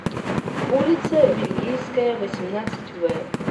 улица вельгийская восемнадцать в